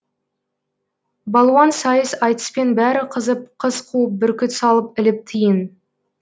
балуан сайыс айтыспен бәрі қызып қыз қуып бүркіт салып іліп тиын